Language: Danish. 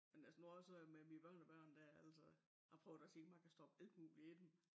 Men altså nu også øh med mine børnebørn dér altså jeg prøver at se om jeg kan stoppe alt muligt i dem